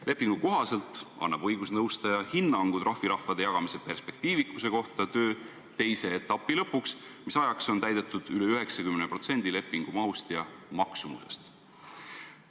Lepingu kohaselt annab õigusnõustaja hinnangu trahviraha jagamise perspektiivikuse kohta töö teise etapi lõpuks, mis ajaks on täidetud üle 90% lepingu mahust ja maksumusest.